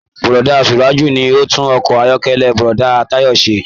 Búrọ̀da Suraju ní o n tún ọkọ ayọkẹlẹ Búrọ̀da Tayo se.